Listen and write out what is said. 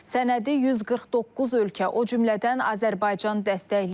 Sənədi 149 ölkə, o cümlədən Azərbaycan dəstəkləyib.